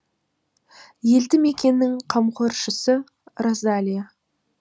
елді мекеннің қамқоршысы розалия